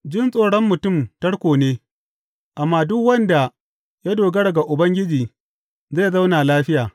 Jin tsoron mutum tarko ne, amma duk wanda ya dogara ga Ubangiji zai zauna lafiya.